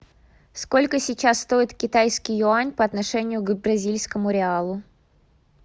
сколько сейчас стоит китайский юань по отношению к бразильскому реалу